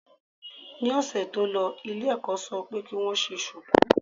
Ní ọ̀sẹ̀ tó lọ ilé ẹ̀kọ́ ṣọ pé kí wọ́n ṣe ṣùkú.